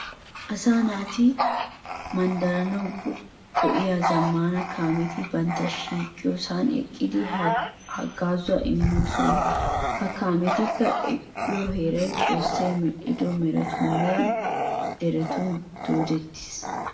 Asaa naati manddaranawu go''iya zammaana kaameti bantta shiiqiyosan eqqidi haggaazuwa immoosona. Ha kaameti eqqo heeray Xoossi medhdho meretatuuni nne deretun doodettis.